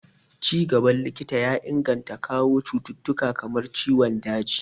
Ci gaban likita ya inganta gano cututtuka kamar ciwon daji